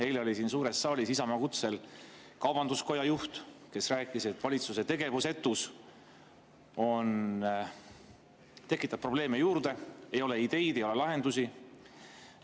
Eile oli siin suures saalis Isamaa kutsel kaubanduskoja juht, kes rääkis, et valitsuse tegevusetus tekitab probleeme juurde, ei ole ideid ega lahendusi.